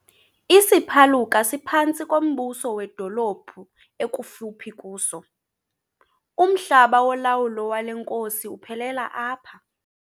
Isiphaluka siphantsi kombuso wedolophu ekufuphi kuso. umhlaba wolawulo wale nkosi uphelela apha